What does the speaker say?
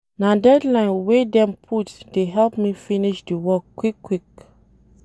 Na deadline wey dem put dey help me finish di work quick-quick.